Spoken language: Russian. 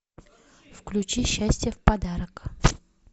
включи счастье в подарок